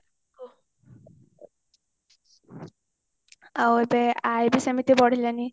ଆଉ ଏବେ ଆୟ ବି ସେମିତି ବଢିଲାଣି